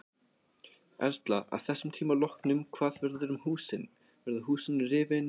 Erla: Að þessum tíma loknum hvað verður um húsin, verða húsin rifin eða?